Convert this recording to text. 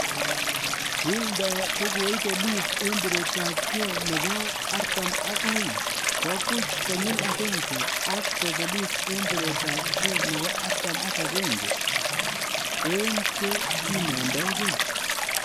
Wilder kogoibelis en biretab kee 42, kwo buch konyil agenge ak kobelis en biretab kee 41 en che kimondogee.